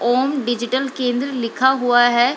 ओम digital Kendra लिखा हुआ है।